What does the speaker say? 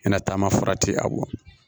I na taama farati a bɔ